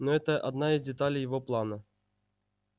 но это одна из деталей его плана